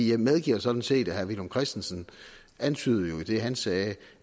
jeg medgiver sådan set og herre villum christensen antydede jo i det han sagde